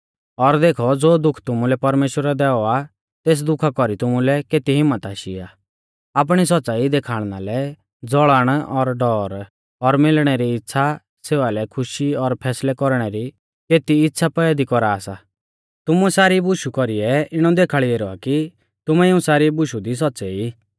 और देखौ ज़ो दुःख तुमुलै परमेश्‍वरै दैऔ आ तेस दुखा कौरी तुमुलै केती हिम्मत आशी आ आपणी सौच़्च़ाई देखाल़णा लै ज़ौलन और डौर और मिलणै री इच़्छ़ा सेवा लै खुशी और फैसलै कौरणै री केती इच़्छ़ा पैदी कौरा सा तुमुऐ सारी बुशु कौरीऐ इणौ देखाल़ी ऐरौ आ कि तुमैं इऊं सारी बुशु दी सौच़्च़ै ई